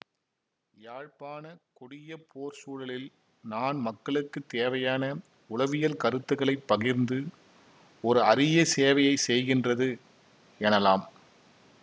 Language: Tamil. யாழ்ப்பாண கொடிய போர் சூழலில் நான் மக்களுக்கு தேவையான உளவியல் கருத்துக்களை பகிர்ந்து ஒரு அரிய சேவையை செய்கின்றது எனலாம்